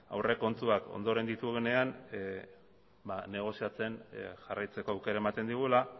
aurrekontuak ondoren ditugunean ba negoziatzen jarraitzeko aukera ematen digula